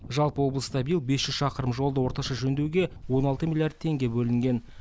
жалпы облыста биыл без жүз шақырым жолды орташа жөндеуге он алты миллиард теңге бөлінген